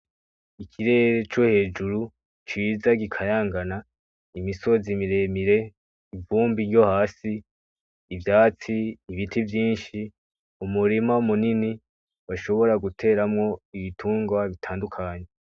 Ikirere co hejuru ciza gikayangana, imisozi mire mire, ivumbi ryo hasi, ivyatsi, ibiti vyinshi, umurima munini bashobora guteramwo ibitungwa bitandukanye.